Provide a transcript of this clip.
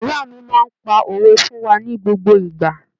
Ìyá mi máa ń pa òwe fún wa ní gbogbo ìgbà.